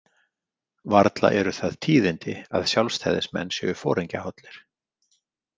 Varla eru það tíðindi að Sjálfstæðismenn séu foringjahollir.